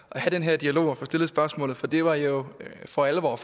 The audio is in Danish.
at have den her dialog og få stillet spørgsmålet for det var jo for alvor